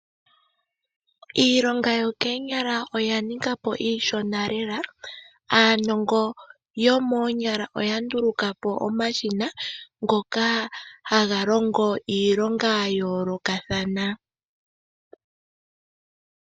Iilonga yokoonyala oya ninga po iishona lela. Aanongo yomoonyala ota nduluka po omashina ngoka haga longo iilonga ya yoolokathana.